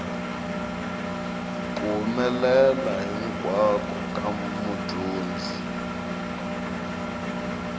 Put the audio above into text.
ku humelela hinkwako ka mudyondzi